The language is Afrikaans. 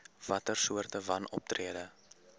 watter soorte wanoptrede